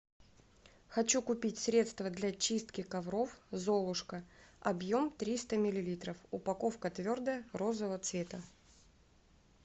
хочу купить средство для чистки ковров золушка объем триста миллилитров упаковка твердая розового цвета